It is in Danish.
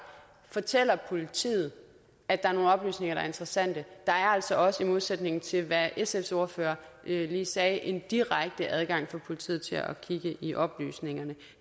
fortæller politiet at der er nogle oplysninger der er interessante der er altså også i modsætning til hvad sfs ordfører lige sagde en direkte adgang for politiet til at kigge i oplysningerne